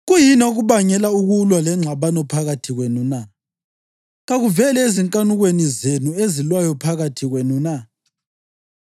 Kuyini okubangela ukulwa lengxabano phakathi kwenu na? Kakuveli ezinkanukweni zenu ezilwayo phakathi kwenu na?